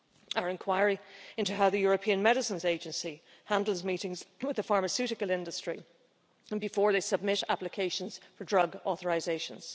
our inquiry into how the European Medicines Agency handles meetings with the pharmaceutical industry and before they submit applications for drug authorisations